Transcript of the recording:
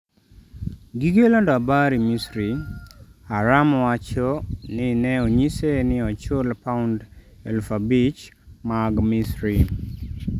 gige lando habari misri, Ahram owacho ni ne onyise ni ochul pound eluf abich mag Misri